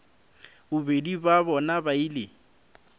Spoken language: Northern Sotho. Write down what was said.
bobedi bja bona ba ile